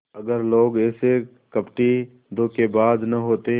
अगर लोग ऐसे कपटीधोखेबाज न होते